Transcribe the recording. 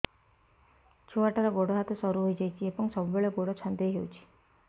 ଛୁଆଟାର ଗୋଡ଼ ହାତ ସରୁ ହୋଇଯାଇଛି ଏବଂ ସବୁବେଳେ ଗୋଡ଼ ଛଂଦେଇ ହେଉଛି